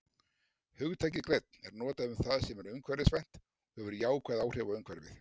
Hugtakið grænn er notað um það sem er umhverfisvænt og hefur jákvæð áhrif á umhverfið.